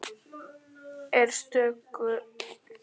Er stöðugleikinn kominn á Hlíðarenda?